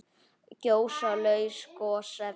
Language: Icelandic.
Gjóska- laus gosefni